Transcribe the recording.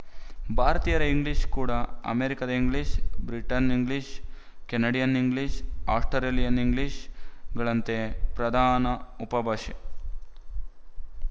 ಭಾರತೀಯರ ಇಂಗ್ಲಿಶ ಕೂಡ ಅಮೇರಿಕದ English Britain English Canadian English Australian ಇಂಗ್ಲಿಶ‍ಗಳಂತೆ ಒಂದು ಪ್ರಧಾನ ಉಪಭಾಷೆ